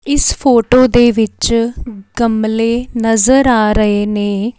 ਇਸ ਫੋਟੋ ਦੇ ਵਿੱਚ ਗਮਲੇ ਨਜ਼ਰ ਆ ਰਹੇ ਨੇ।